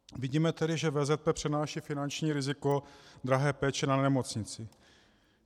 Vidíme tedy, že VZP přenáší finanční riziko drahé péče na nemocnici.